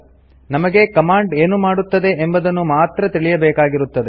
ನಮಗೆ ಕಮಾಂಡ್ ಏನು ಮಾಡುತ್ತದೆ ಎಂಬುದನ್ನು ಮಾತ್ರ ತಿಳಿಯಬೇಕಾಗಿರುತ್ತದೆ